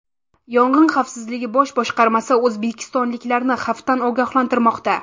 Yong‘in xavfsizligi bosh boshqarmasi o‘zbekistonliklarni xavfdan ogohlantirmoqda.